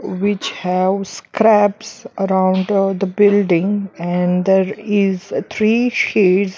Which have scraps around the building and there is three sheds --